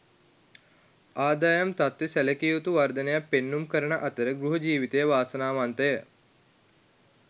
ආදායම් තත්ත්වයේ සැලකිය යුතු වර්ධනයක් පෙන්නුම් කරන අතර ගෘහ ජීවිතය වාසනාවන්තය.